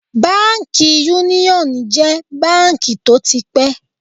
Báńkì Yúníọ̀ jẹ́ báńkì tó ti pẹ́.